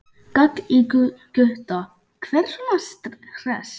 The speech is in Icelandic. gall í Gutta, hver er svona hress?